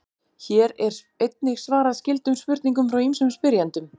Hér er einnig svarað skyldum spurningum frá ýmsum spyrjendum.